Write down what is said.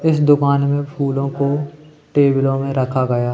इस दुकान में फूलों को टेबलों में रखा गया--